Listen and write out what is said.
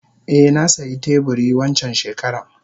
Eh nasiya teburi wancan shekaran.